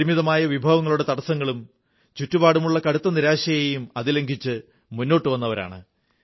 പരിമിതമായ വിഭവങ്ങളുടെ തടസ്സങ്ങളും ചുറ്റുപാടുമുള്ള കടുത്ത നിരാശയെയും അതിലംഘിച്ച് മുന്നോട്ടു വന്നവരാണ്